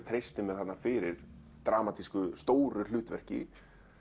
treysti mér þarna fyrir dramatísku stóru hlutverki